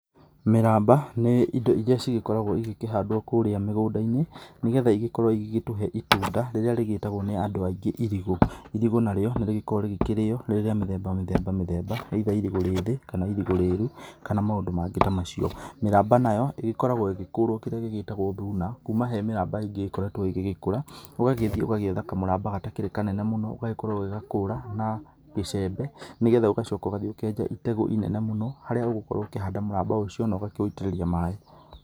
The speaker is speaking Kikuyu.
Mĩramba nĩ indo iria cigĩkoragwo igĩkĩhandwo kũrĩa mĩgũnda-inĩ nĩ getha ĩgĩkorwo ĩgĩgĩtũhe itunda rĩrĩa rĩgĩtagwo nĩ andũ aingĩ irigũ. Irigũ narĩo nĩ rĩgĩkoragwo rĩkĩrĩo rĩrĩ rĩa mĩthemba, mĩthemba mĩthemba. Either irigũ rĩthĩ kana irigũ rĩru kana maũndũ mangĩ ta macio, mĩramba nayo ĩgĩkoragwo ĩgĩgĩkũrwo kĩrĩa gĩgĩtagwo thuna. Kuma he mĩramba ĩngĩ ĩkoretwo ĩgĩgĩkũra. ũgagĩthiĩ ũgagĩetha kamũramba gatakĩrĩ kanene mũno ũgagĩkorwo ũgĩgakũra na icembe nĩ getha ũgacoka ũgathiĩ ũkenja itegũ inene mũno. Harĩa ũgũkorwo ũkĩhanda mũramba ũcio na ũgakĩũitĩrĩria maaĩ.